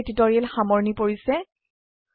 ইয়াতে এই টিউটৰীয়েল সামৰনি পৰিছে